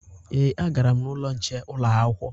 Ee, agara m n'ụlọ nche ụlọakwụkwọ